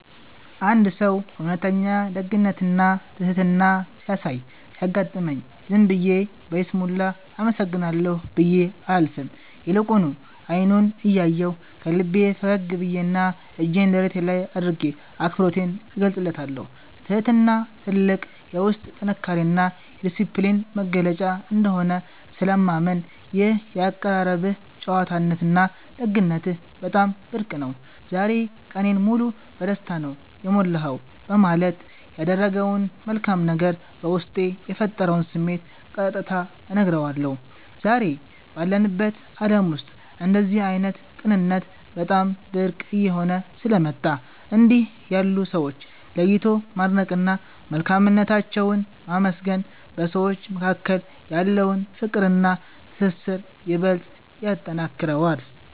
አንድ ሰው እውነተኛ ደግነትና ትሕትና ሲያሳይ ሲያጋጥመኝ፣ ዝም ብዬ በይስሙላ “አመሰግናለሁ” ብዬ አላልፍም፤ ይልቁኑ አይኑን እያየሁ፣ ከልቤ ፈገግ ብዬና እጄን ደረቴ ላይ አድርጌ አክብሮቴን እገልጽለታለሁ። ትሕትና ትልቅ የውስጥ ጥንካሬና የዲስፕሊን መገለጫ እንደሆነ ስለማምን፣ “ይህ የአቀራረብህ ጨዋነትና ደግነትህ በጣም ብርቅ ነው፤ ዛሬ ቀኔን ሙሉ በደስታ ነው የሞላኸው” በማለት ያደረገው መልካም ነገር በውስጤ የፈጠረውን ስሜት ቀጥታ እነግረዋለሁ። ዛሬ ባለንበት ዓለም ውስጥ እንደዚህ ዓይነት ቅንነት በጣም ብርቅ እየሆነ ስለመጣ፣ እንዲህ ያሉ ሰዎችን ለይቶ ማድነቅና መልካምነታቸውን ማመስገን በሰዎች መካከል ያለውን ፍቅርና ትስስር ይበልጥ ያጠነክረዋል።